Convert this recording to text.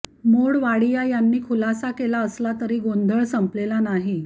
मोडवाडिया यांनी खुलासा केला असला तरी गोंधळ संपलेला नाही